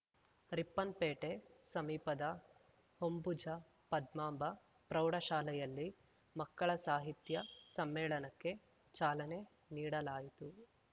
ರಿಪ್ಪನ್‌ಪೇಟೆ ಸಮೀಪದ ಹೊಂಬುಜ ಪದ್ಮಾಂಬ ಪ್ರೌಢಶಾಲೆಯಲ್ಲಿ ಮಕ್ಕಳ ಸಾಹಿತ್ಯ ಸಮ್ಮೇಳನಕ್ಕೆ ಚಾಲನೆ ನೀಡಲಾಯಿತು